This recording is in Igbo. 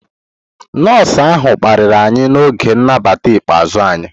Nọọsụ ahụ kparịrị anyị n'oge nnabata ikpeazụ anyị.